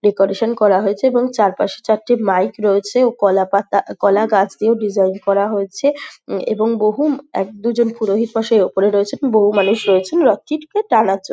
''Decoration করা হয়েছে | এবং চারপাশে চারটি মাইক রয়েছে ও কলাপাতা কলাগাছটিও ডিজাইন করা হয়েছে | উম এবং বহু এক দু''''জন পুরোহিত মশাই উপরে রয়েছেন বহু মানুষ রয়েছেন রথটিকে টানার জন্য। ''